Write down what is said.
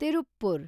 Tiruppur